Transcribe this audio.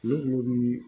Ne ko bi